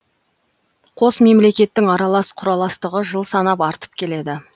қос мемлекеттің аралас құраластығы жыл санап артып келеді